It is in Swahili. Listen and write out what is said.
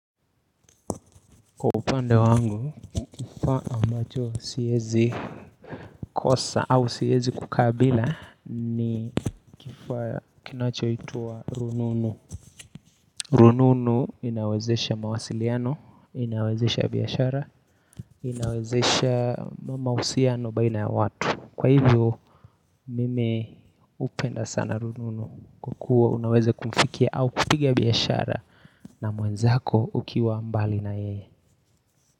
Kwa upande wangu, kifaa ambacho siwezi kosa au siwezi kukaa bila ni kifaa kinachoitwa rununu rununu inawezesha mawasiliano, inawezesha biashara, inawezesha mahusiano baina ya watu. Kwahivyo mimi hupenda sana rununu kwakuwa unaweza kumfikia au kupiga biashara na mwenzako ukiwa mbali na yeye.